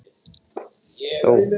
Tylltu þér hjá krökkunum, Svenni.